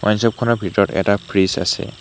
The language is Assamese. ৱাইন শ্বপ খনৰ ভিতৰত এটা ফ্ৰিজ আছে।